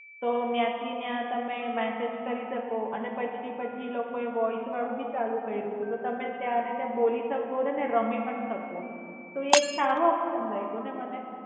તો ન્યાંથી ન્યાં તમે મેસેજ કરી શકો અને પછી પછી ઈ લોકો એ વોઇસ વાળું ભી ચાલુ કઈરું તું તો તમે ત્યાં ને ત્યાં બોલી શકો અને રમી પણ શકો. તો ઈ એક સારું ઓપસ્ન લાગ્યું ન મને.